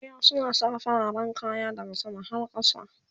eyo suna Saka fararen kaya daha sama har kasa